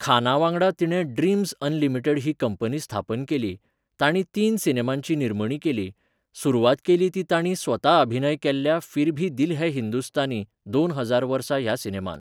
खाना वांगडा तिणें ड्रीम्झ अनलिमिटेड ही कंपनी स्थापन केली, तांणी तीन सिनेमांची निर्मणी केली, सुरवात केली ती तांणी स्वता अभिनय केल्ल्या फिर भी दिल है हिंदुस्तानी, दोन हजार वर्सा ह्या सिनेमान.